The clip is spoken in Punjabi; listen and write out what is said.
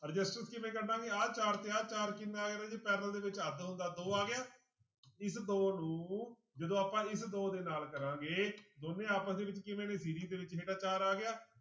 Resistance ਕਿਵੇਂ ਕੱਢਾਂਗੇ ਆਹ ਚਾਰ ਤੇ ਆਹ ਚਾਰ ਕਿੰਨਾ ਆ ਗਿਆ ਰਾਜੇ parallel ਦੇ ਵਿੱਚ ਅੱਧ ਹੁੰਦਾ ਦੋ ਆ ਗਿਆ, ਇਸ ਦੋ ਨੂੰ ਜਦੋਂ ਆਪਾਂ ਇਸ ਦੋ ਦੇ ਨਾਲ ਕਰਾਂਗੇ ਦੋਨੇਂ ਆਪਸ ਦੇ ਵਿੱਚ ਕਿਵੇਂ ਨੇ ਦੇ ਵਿੱਚ ਹੇਠਾਂਂ ਚਾਰ ਆ ਗਿਆ,